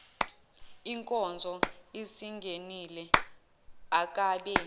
inkonzo isingenile akabe